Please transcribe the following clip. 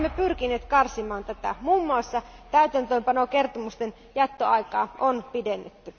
Olemme pyrkineet karsimaan sitä, muun muassa täytäntöönpanokertomusten jättöaikaa on pidennetty.